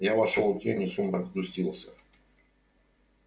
я вошёл в тень и сумрак сгустился